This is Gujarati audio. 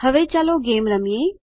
હવે ચાલો ગેમ રમીએ